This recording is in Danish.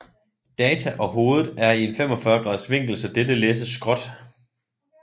Data og hovedet er i en 45 graders vinkel så dette læses skråt